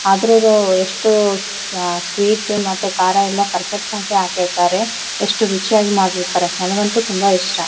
ಆದ್ರು ಎಷ್ಟು ಸ್ವೀಟ್ ಮತ್ತೆ ಖಾರ ಎಲ್ಲ ಪೆರ್‌ಫೆಕ್ಟಾಗಿ ಹಾಕಿರ್ತಾರೆ ಎಷ್ಟು ರುಚಿಯಾಗಿ ಮಾಡಿರ್ತಾರೆ ನನಗಂತೂ ತುಂಬಾ ಇಷ್ಟ.